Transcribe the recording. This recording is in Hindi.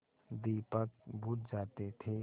दीपक बुझ जाते थे